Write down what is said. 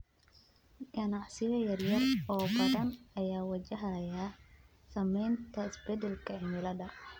Ganacsiyo yaryar oo badan ayaa wajahaya saameynta isbedelka cimilada.